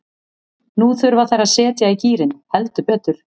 Nú þurfa þær að setja í gírinn, heldur betur.